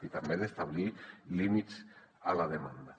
i també ha d’establir límits a la demanda